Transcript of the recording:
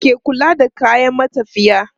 Wa ke kula da kayan matafiya?